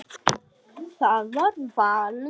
Það var valur.